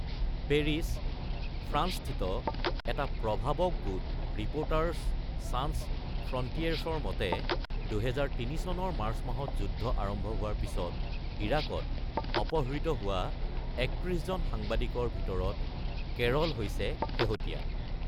Paris, ফ্ৰান্সস্থিত এটা প্ৰভাৱক গোট ৰিপ’ৰ্টাৰ্ছ ছান্স ফ্ৰন্টিয়েৰছৰ মতে, ২০০৩ চনৰ মাৰ্চ মাহত যুদ্ধ আৰম্ভ হোৱাৰ পিছত ইৰাকত অপহৃত হোৱা ৩১ জন সাংবাদিকৰ ভিতৰত কেৰল হৈছে শেহতীয়া।